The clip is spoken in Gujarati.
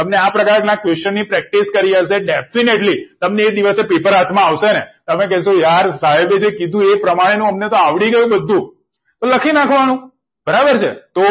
તમને આ પ્રકારના જવાબ ની practice કરી આપશે definitely તમને એ દિવસે પેપર હાથમાં આવશેને તમે કેશુ યાર સાહેબે કીધું એ પ્રમાણે આવડી ગયું બધું તો લખી નાખવાનું બરાબર છે તો